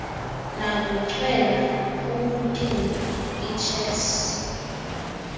nokuchwela ukucula ichess